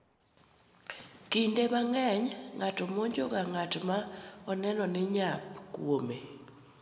Kinde mang’eny ng’ato monjo ga ng’at ma oneno ni nyap kuome,